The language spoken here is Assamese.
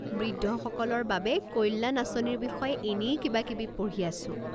বৃদ্ধসকলৰ বাবে কল্যাণ আঁচনিৰ বিষয়ে এনেই কিবাকিবি পঢ়ি আছো।